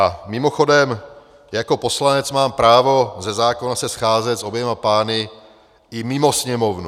A mimochodem, jako poslanec mám právo ze zákona se scházet s oběma pány i mimo Sněmovnu.